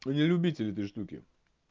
вы не любители эти штуки